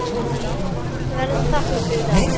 Við erum þakklát fyrir það.